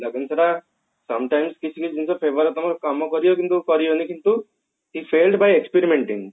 ସେଟା sometimes କିଛି ଟା ଜିନିଷ fever ରେ ତମର କାମ କରିବ କିନ୍ତୁ କରିନି କିନ୍ତୁ he failed by experimenting